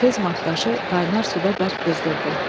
Tez maqqaşı qaynar suda bərk qızdırdı.